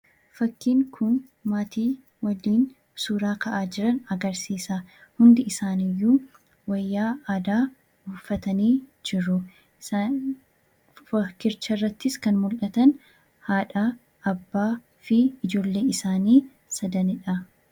Fakkiin kun maatii wajjin suuraa ka'aa jiran agarsiisa. Hundisaaniiyyuu wayyaa aadaa uffatanii jiru. Daa'imni fakkicharrattis kan mul'atan haadha, abbaa fi ijoolle isaanii sadanidha.